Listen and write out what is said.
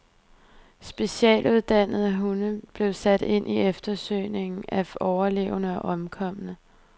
Specialuddannede hunde blev sat ind i eftersøgningen af overlevende og omkomne.